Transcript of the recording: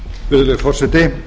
virðulegi forseti